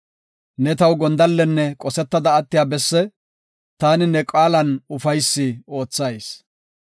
Ne taw gondallenne qosetada attiya besse taani ne qaalan ufaysi oothayis.